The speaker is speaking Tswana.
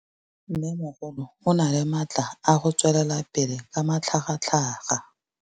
Mmêmogolo o na le matla a go tswelela pele ka matlhagatlhaga.